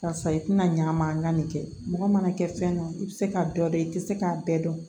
Karisa i tɛna ɲ'a ma n ka nin kɛ mɔgɔ mana kɛ fɛn nɔ i bɛ se ka dɔ dɔn i tɛ se k'a bɛɛ dɔn